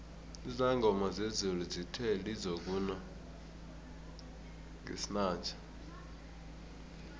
izangoma zezulu zithe lizokuna ngesinanje